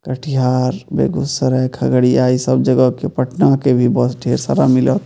कटिहार बेगूसराय खगड़िया इ सब जगह के पटना के भी ढेर सारा बस मिलत।